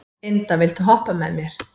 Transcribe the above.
Inda, viltu hoppa með mér?